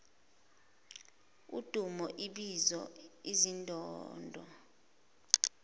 udumo ibizo izindondo